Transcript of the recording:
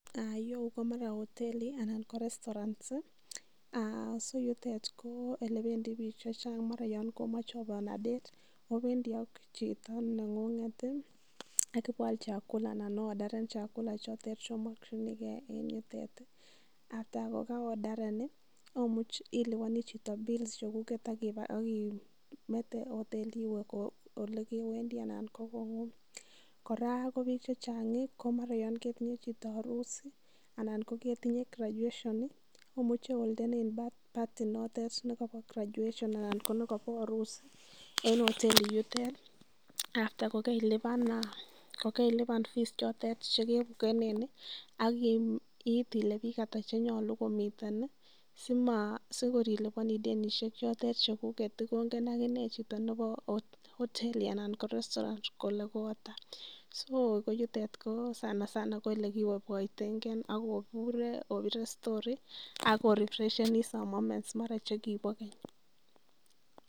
Ireyu komara hoteli anan ko mara ko restaurant so yutet ko ele bendi biik che chang mara yon komoche obe on a date obendi ak chito neng'ung'et ii ak ibo aal chakula anan oodaren chakula chotet chookinigei en yutet ak kityo ye karo odaren iliboni chito bills chekuket ak imete hoteli iwe ole kewendi anan ko kong'ung. Kora ko biik chechang komara yan ketinye chito harusi anan ko ketinye graduation omuche oyaen party inotet nekobo graduation anan ko nekobo harusi en hoteli yutet after kokeillipan fees chotet che ke bukenen ak iit ile biik ata chenyolu komiten sikor iliponi denishek chotet chekuket kongen agine chito nebo hoteli anan restaurant kole ko ata. So ko yutet sanasana ko ele ki boiboitenge ak obure obire story ak o refreshe some moments.